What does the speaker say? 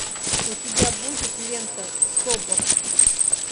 у тебя будет лента собр